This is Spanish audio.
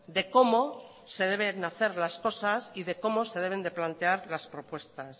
de cómo se deben hacer las cosas y de cómo se deben de plantear las propuestas